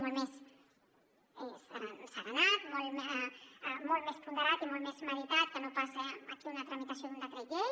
molt més asserenat molt més ponderat i molt més meditat que no pas aquí una tramitació d’un decret llei